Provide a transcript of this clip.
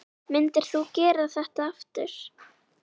Myndir þú gera þetta aftur?